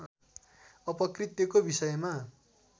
अपकृत्यको विषयमा